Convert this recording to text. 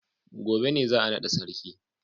gobe ne za a nada sarki.